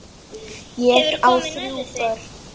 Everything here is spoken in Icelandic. Ég á þrjú börn.